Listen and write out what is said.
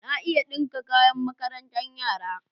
Na iya ɗinka kayan makarantar yara.